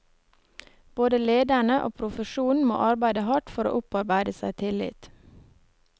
Både lederne og profesjonen må arbeide hardt for å opparbeide seg tillit.